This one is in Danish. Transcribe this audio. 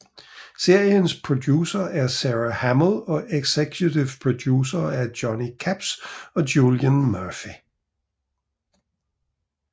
Seriens producer er Sara Hamill og executive producere er Johnny Capps og Julian Murphy